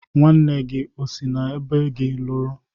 Nwanne gi si n'ebo gi luru?